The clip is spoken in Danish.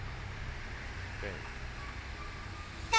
skab